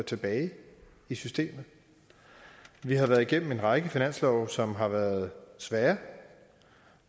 tilbage i systemet vi har været igennem en række finanslove som har været svære